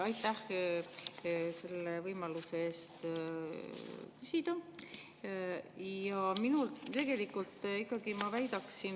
Aitäh selle võimaluse eest küsida!